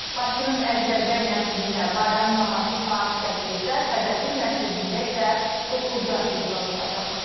Bakının Əjdərbəy məscidində bayram namazı saat 8-də, Təzəpir məscidində isə 9-da icra olunacaq.